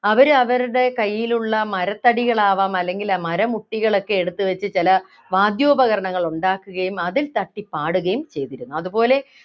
അവരവരുടെ കയ്യിലുള്ള മരത്തടികൾ ആവാം അല്ലെങ്കില് മരമുട്ടികൾ ഒക്കെ എടുത്തുവച്ച് ചെല വാദ്യോപകരണങ്ങൾ ഉണ്ടാക്കുകയും അതിൽ തട്ടി പാടുകയും ചെയ്തിരുന്നു